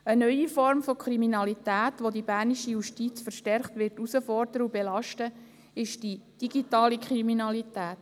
Eine neue Form von Kriminalität, welche die Bernische Justiz verstärkt herausfordern und belasten wird, ist die digitale Kriminalität.